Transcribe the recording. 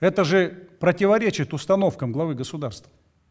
это же противоречит установкам главы государства